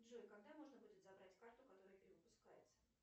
джой когда можно будет забрать карту которая перевыпускается